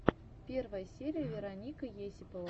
первая серия вероника есипова